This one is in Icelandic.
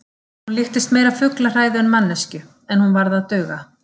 Hún líktist meira fuglahræðu en manneskju, en hún varð að duga.